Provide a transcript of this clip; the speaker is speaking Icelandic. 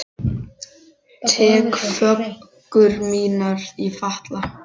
Tek föggur mínar í fatla.